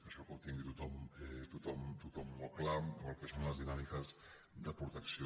això que ho tingui tothom molt clar o el que són les dinàmiques de protecció